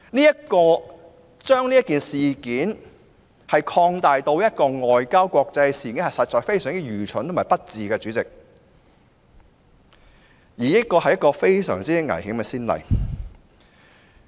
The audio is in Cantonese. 主席，將這件事件提升至國際外交層面，實屬非常愚蠢及不智，這亦是一個非常危險的先例。